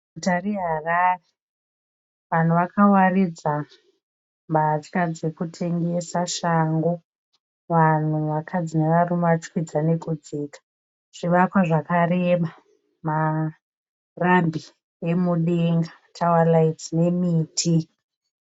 Guta reHarare vanhu vakawaridza mbatya dzekutemgesa shangu, vanhu vakadzi nevarume vachikwidza nekudzika, zvivakwa zvakareba, marambi emudenga tawa raiti nemiti.